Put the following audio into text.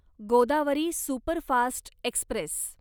Godavari superfast Express